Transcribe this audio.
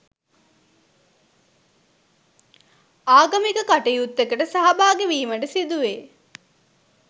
ආගමික කටයුත්තකට සහභාගි වීමට සිදු වේ.